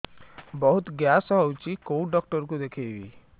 ବହୁତ ଗ୍ୟାସ ହଉଛି କୋଉ ଡକ୍ଟର କୁ ଦେଖେଇବି